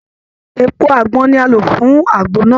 Èpo àgbọn ni a lò fún àgbo náà